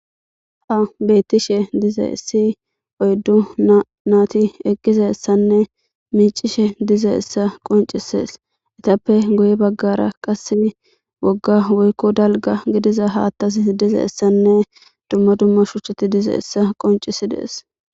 ha beyttishe dize issi oyddu naati eqqize ssanne miicishe dize issa qoncisees itappe goye baggara qase wogga woykko dalga gidiza haattas dize essanne dumma dumma shucheti dize essa qoncisi dees